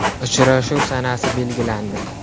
Uchrashuv sanasi belgilandi.